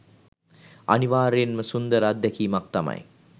අනිවාර්යයෙන්ම සුන්දර අත්දැකීමක් තමයි